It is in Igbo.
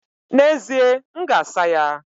N'ezie, m ga-asa ya.